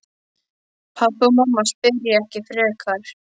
Pabbi og mamma spyrja ekki frekar.